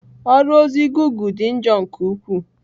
Ọrụ ozi gụgle dị njọ nke ukwuu.